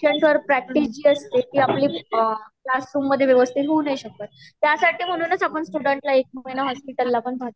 तर पेशंट वर प्रैक्टिस जी आसते टी आपली क्लासरूम मधे व्यवस्थित हाऊ नाही शकत त्या साथी म्हणूनच आपण स्टूडेंट ला एक महिण्यासाठी हॉस्पिटलला पठावटों